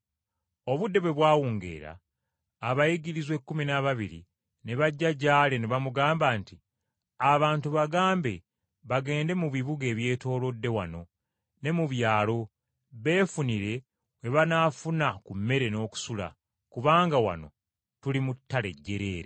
Obudde bwe bwawungeera abayigirizwa ekkumi n’ababiri ne bajja gy’ali ne bamugamba nti, “Abantu bagambe bagende mu bibuga ebyetoolodde wano ne mu byalo beefunire we banaafuna ku mmere n’okusula, kubanga wano tuli mu ttale jjereere.”